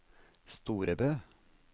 Storebø